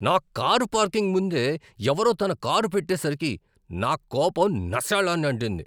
నా car parking ముందే ఎవరో తన కారు పెట్టేసరికి నా కోపం నశాళాన్ని అంటింది.